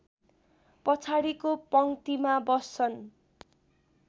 पछाडिको पङ्क्तिमा बस्छन्